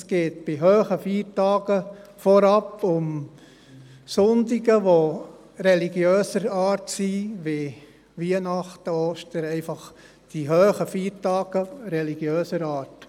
Es geht bei hohen Feiertagen vorab um Sonntage, die religiöser Art sind, wie Weihnachten und Ostern, einfach die hohen Feiertage religiöser Art.